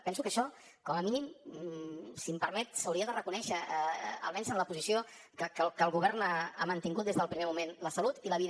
penso que això com a mínim si em permet s’hauria de reconèixer almenys en la posició que el govern ha mantingut des del primer moment la salut i la vida